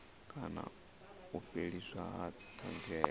kana u fheliswa ha thanziela